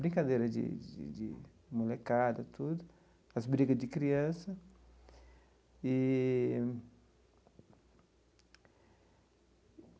brincadeiras de de molecada, tudo, as brigas de criança eee.